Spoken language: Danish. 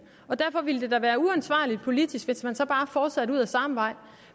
derfor ville det da være uansvarligt politisk hvis man så bare fortsatte ud ad samme vej